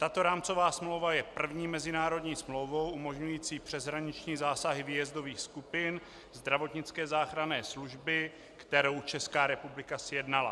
Tato rámcová smlouva je první mezinárodní smlouvou umožňující přeshraniční zásahy výjezdových skupin zdravotnické záchranné služby, kterou Česká republika sjednala.